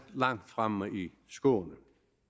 langt fremme i skoene